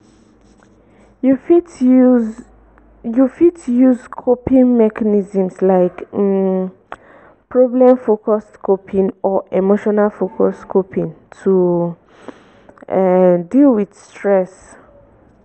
you fit use you fit use coping mechanisms like um problem-focused coping or emotion-focused coping to um deal with stress.